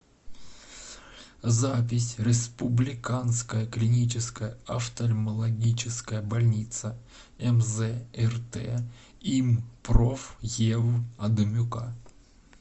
запись республиканская клиническая офтальмологическая больница мз рт им проф ев адамюка